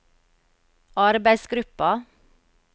arbeidsgruppa